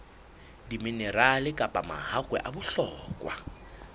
diminerale kapa mahakwe a bohlokwa